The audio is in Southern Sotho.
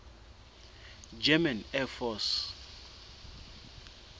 german air force